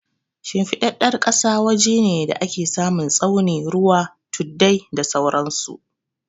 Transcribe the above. Shimfiɗaɗɗar ƙasa waje ne da ake samun tsauni, ruwa, tuddai, da sauran su.